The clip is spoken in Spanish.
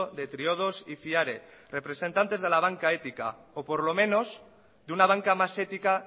de triodos y fiare representantes de la banca ética o por lo menos de una banca más ética